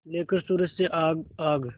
लेकर सूरज से आग आग